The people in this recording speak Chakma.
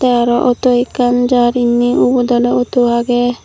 te ariw awtow ekkan jar inni ubot arow awtow agey.